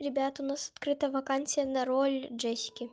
ребята у нас открыта вакансия на роль джесики